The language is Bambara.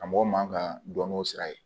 Karamɔgɔ man ka dɔn n'o sira ye